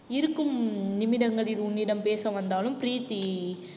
இருக்கும் நிமிடங்களில் உன்னிடம் பேச வந்தாலும் பிரீத்தி